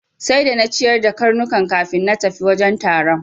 Sai da na ciyar da karnukan kafin na tafi wajen taron.